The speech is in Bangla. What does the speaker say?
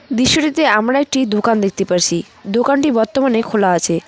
দৃশ্যটিতে আমরা একটি দোকান দেখতে পারসি দোকানটি বর্তমানে খোলা আছে।